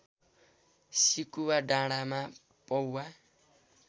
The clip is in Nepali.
सिकुवा डाँडाँमा पौवा